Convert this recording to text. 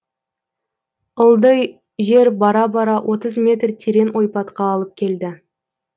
ьілдый жер бара бара отыз метр терең ойпатқа алып келді